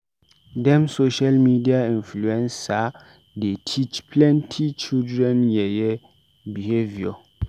Dem social media inluencer dey teach children plenty yeye behaviour.